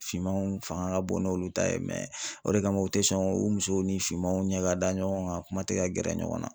Finmanw fanga ka bon n'olu ta ye o de kama u te sɔn u musow ni finmanw ɲɛ ka da ɲɔgɔn kan a kuma tɛ ka gɛrɛ ɲɔgɔn na.